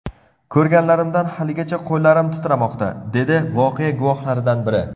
Ko‘rganlarimdan haligacha qo‘llarim titramoqda”, dedi voqea guvohlaridan biri.